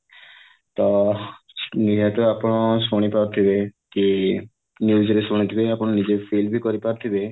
ତ ନିହାତି ଆପଣ ଶୁଣିପାରୁଥିବେ କି news ରେ ଶୁଣିଥିବେ ଆପଣ ନିଜେ feel ବି କରିପାରୁଥିବେ